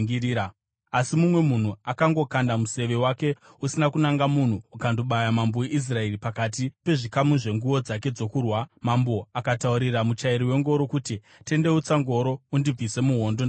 Asi mumwe munhu akangokanda museve wake usina kunanga munhu ukandobaya mambo weIsraeri pakati pezvikamu zvenguo dzake dzokurwa nadzo. Mambo akataurira muchairi wengoro kuti, “Tendeutsa ngoro undibvise muhondo. Ndakuvara.”